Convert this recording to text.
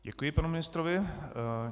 Děkuji panu ministrovi.